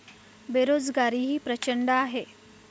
बेरोजगारीही प्रचंड आहे.